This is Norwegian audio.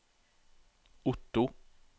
Otto